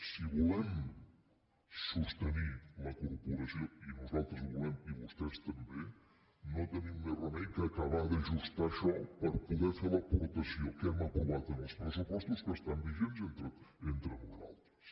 si volem sostenir la corporació i nosaltres ho volem i vostès també no tenim més remei que acabar d’ajustar això per poder fer l’aportació que hem aprovat en els pressupostos que estan vigents entre nosaltres